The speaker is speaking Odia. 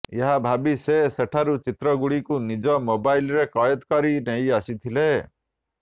ଏହା ଭାବି ସେ ସେଠାରୁ ଚିତ୍ରଗୁଡ଼ିକୁ ନିଜ ମୋବାଇଲ୍ରେ କଏଦ କରି ନେଇ ଆସିଥିଲେ